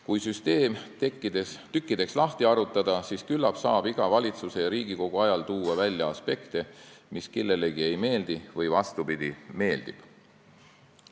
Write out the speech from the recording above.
Kui süsteem tükkideks lahti harutada, siis saaks küllap iga valitsuse ja Riigikogu aja kohta tuua välja aspekte, mis kellelegi ei meeldi, või vastupidi, meeldib.